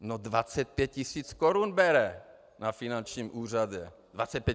No 25 tisíc korun bere na finančním úřadě.